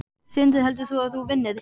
Sindri: Heldur þú að þú vinnir?